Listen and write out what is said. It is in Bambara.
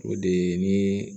O de ye ni